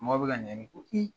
Mɔgɔ bɛ ka